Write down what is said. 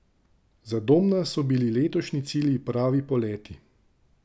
Za Domna so bili letošnji cilj pravi poleti.